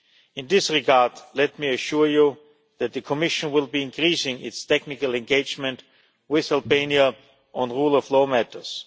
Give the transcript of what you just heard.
In this regard, let me assure you that the Commission will be increasing its technical engagement with Albania on rule of law matters.